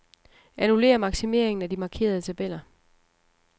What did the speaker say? Annullér maksimeringen af de markerede tabeller.